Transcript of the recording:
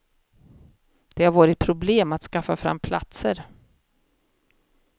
Det har varit problem att skaffa fram platser.